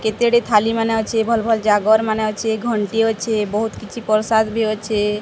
କେତେ ଏଠି ଥାଲୀ ମାନେ ଅଛି ଭଲ ଭଲ ଜାଗର ମାନେ ଅଛି ଘଣ୍ଟି ଅଛି ବହୁତ କିଛି ପ୍ରସାଦ ବି ଅଛି।